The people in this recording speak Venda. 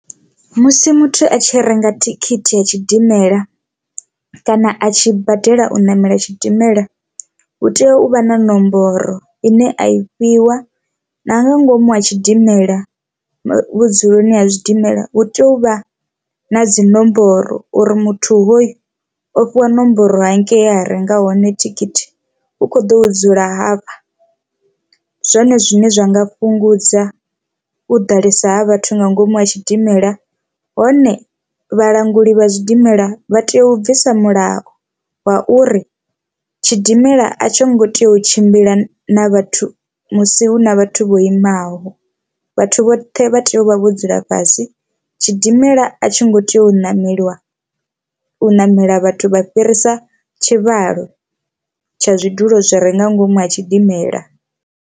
Musi muthu a tshi renga thikhithi ya tshidimela kana a tshi badela u ṋamela tshidimela hu tea u vha na nomboro ine a i fhiwa na nga ngomu ha tshidimela vhudzuloni ha zwidimela hu tea uvha na dzinomboro uri muthu hoyu o fhiwa nomboro hangei a renga hone thikhithi u kho ḓo dzula hafha, zwone zwine zwa nga fhungudza u ḓalesa ha vhathu nga ngomu ha tshidimela. Hone vhalanguli vha zwidimela vha tea u bvisa mulayo wa uri tshidimela a tsho ngo tea u tshimbila na vhathu musi hu na vhathu vho imaho vhathu vhoṱhe vha tea u vha vho dzula fhasi, tshidimela a tshi ngo tea u ṋameliwa u ṋamela vhathu vha fhirisa tshivhalo tsha zwidulo zwi re nga ngomu ha tshidimela.